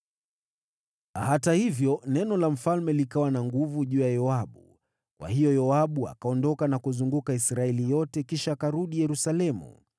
Hata hivyo, neno la mfalme likawa na nguvu juu ya Yoabu; kwa hiyo Yoabu akaondoka na kuzunguka Israeli yote kisha akarudi Yerusalemu.